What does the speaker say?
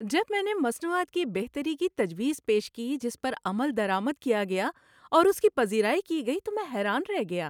‏جب میں نے مصنوعات کی بہتری کی تجویز پیش کی جس پر عمل درآمد کیا گیا اور اس کی پذیرائی کی گئی تو میں حیران رہ گیا۔